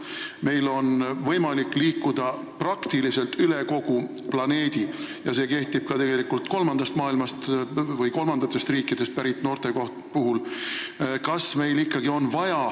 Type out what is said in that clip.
Meil on võimalik liikuda praktiliselt kogu planeedil ja see kehtib tegelikult ka kolmandast maailmast või kolmandatest riikidest pärit noorte kohta.